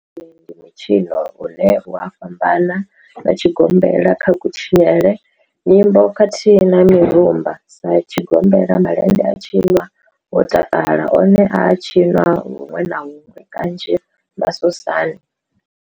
Malende one ndi mitshino une u a fhambana na tshigombela kha kutshinele, nyimbo khathihi na mirumba. Sa tshigombela, malende a tshinwa ho takalwa, one a a tshiniwa huṅwe na huṅwe kanzhi masosani.